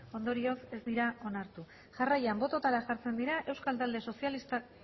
ondorioz ez dira onartu jarraian bototara jartzen dira euskal talde sozialistak